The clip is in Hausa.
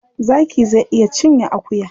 Zaki zai iya cinye akuya.